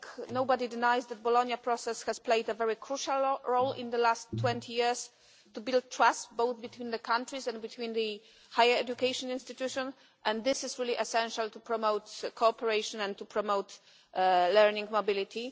Nobody denies that the Bologna Process has played a very crucial role in the last 20 years to build trust, both between the countries and between the higher education institutions, and this is really essential to promote cooperation and to promote learning mobility.